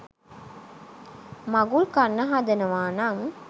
මඟුල් කන්න හදනවා නම්